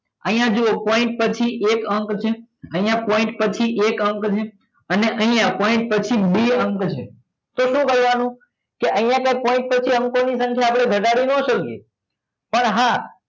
અહિયાં જુઓ point પછી એક અંક છે અહિયાં point પછી એક અંક છે અને અહિયાં point બે અંક છે તો શું કરવા નું તો કે અહિયાં point પછી અંકો ની સંખ્યા આપડે ઘટાડી નાં શકીએ પણ હા